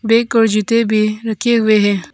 Bag और जूते भी रखे हुए है।